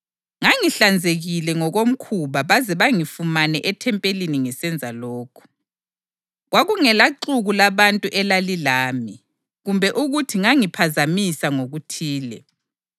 Ngangihlanzekile ngokomkhuba baze bangifumane ethempelini ngisenza lokhu. Kwakungelaxuku labantu elalilami, kumbe ukuthi ngangiphazamisa ngokuthile.